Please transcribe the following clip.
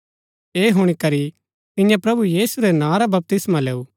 ऐह हुणी करी तिन्ये प्रभु यीशु रै नां रा बपतिस्मा लैऊ